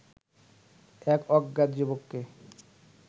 এক অজ্ঞাত যুবককে